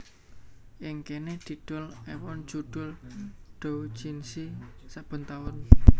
Ing kéné didol èwon judhul doujinshi saben taun